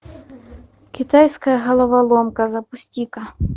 китайская головоломка запусти ка